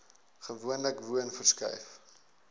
gewoonlik woon verskuif